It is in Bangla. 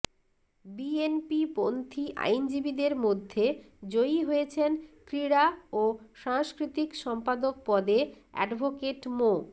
বিএনপিপন্থী আইনজীবীদের মধ্যে জয়ী হয়েছেন ক্রীড়া ও সাংস্কৃতিক সম্পাদক পদে অ্যাডভোকেট মো